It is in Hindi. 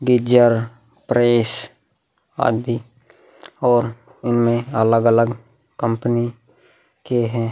गिजर प्रेस आदि और इनमें अलग-अलग कंपनी के है ।